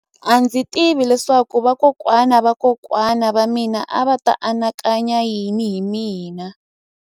A ndzi tivi leswaku vakokwana-va-vakokwana va mina a va ta anakanya yini hi mina.